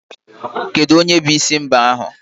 Kedu onye bụ isi mbah ahu?